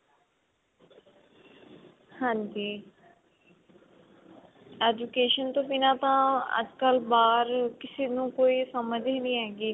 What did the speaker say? ਹਾਂਜੀ education ਤੋਂ ਬਿਨਾ ਤਾਂ ਅੱਜਕਲ ਬਾਹਰ ਕਿਸੇ ਨੂੰ ਕੋਈ ਸਮਝ ਹੀ ਨਹੀਂ ਹੈਗੀ